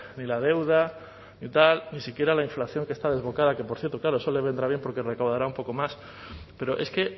ni la deuda ni tal ni siquiera la inflación que está desbocada que por cierto claro eso le vendrá bien porque recaudará un poco más pero es que